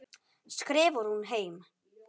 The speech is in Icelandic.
skrifar hún heim.